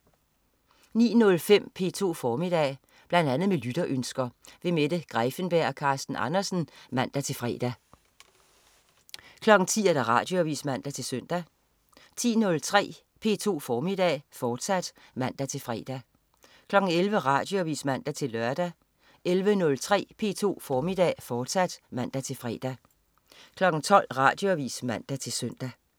09.05 P2 Formiddag. Bl.a. med lytterønsker. Mette Greiffenberg og Carsten Andersen (man-fre) 10.00 Radioavis (man-søn) 10.03 P2 Formiddag, fortsat (man-fre) 11.00 Radioavis (man-lør) 11.03 P2 Formiddag, fortsat (man-fre) 12.00 Radioavis (man-søn)